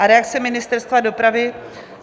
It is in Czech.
A reakce Ministerstva dopravy?